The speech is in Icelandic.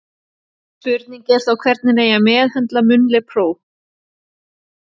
Spurning er þó hvernig meðhöndla eigi munnleg próf.